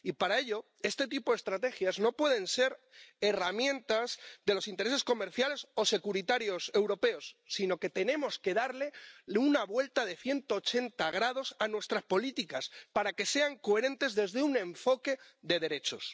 Y, para ello, este tipo de estrategias no pueden ser herramientas de los intereses comerciales o securitarios europeos, sino que tenemos que darle una vuelta de 180 grados a nuestras políticas, para que sean coherentes desde un enfoque de derechos.